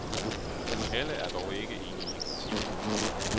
Alle er dog ikke enige i kritikken.